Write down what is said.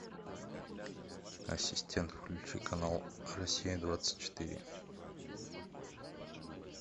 ассистент включи канал россия двадцать четыре